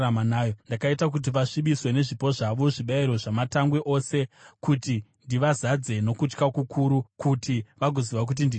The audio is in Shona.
ndakaita kuti vasvibiswe nezvipo zvavo, zvibayiro zvamatangwe ose, kuti ndivazadze nokutya kukuru kuti vagoziva kuti ndini Jehovha.’